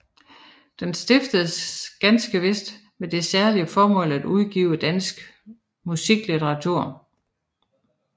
Den stiftedes ganske vist med det særlige formål at udgive dansk musiklitteratur